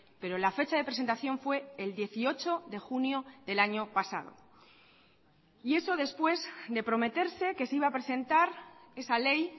pero la fecha de presentación fue el dieciocho de junio del año pasado y eso después de prometerse que se iba a presentar esa ley